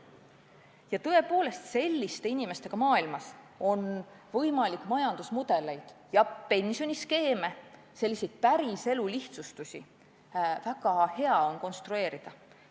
Ja tõepoolest selliste inimestega maailmas on majandusmudeleid ja pensioniskeeme, selliseid päriselu lihtsustusi väga hea konstrueerida.